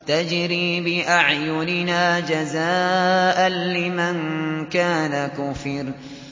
تَجْرِي بِأَعْيُنِنَا جَزَاءً لِّمَن كَانَ كُفِرَ